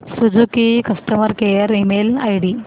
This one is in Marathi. Suzuki customer care email ID